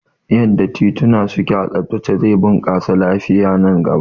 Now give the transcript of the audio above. Yanda tituna suke a tsabtace zai bunƙasa lafiya nan gaba